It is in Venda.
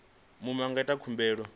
muṅwe a nga ita khumbelo